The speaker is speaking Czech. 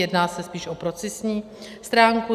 Jedná se spíš o procesní stránku.